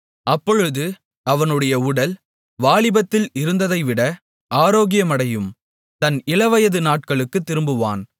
அப்பொழுது அவனுடைய உடல் வாலிபத்தில் இருந்ததைவிட ஆரோக்கியமடையும் தன் இளவயது நாட்களுக்குத் திரும்புவான்